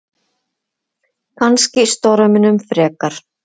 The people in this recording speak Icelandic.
Kannski storminum frekar.